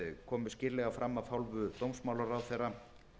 komu skýrlega fram af hálfu dómsmálaráðherra